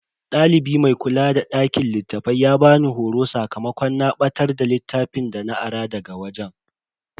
Dalibi mai kula da dakin littafai ya bani horo sakamakon na batar da littafin dana ara daga wajen.